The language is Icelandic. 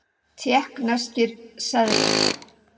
Tékkneskir seðlar.